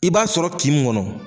I b'a sɔrɔ' kin min kɔnɔ.